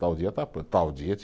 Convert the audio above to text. Tal dia está pronto, tal dia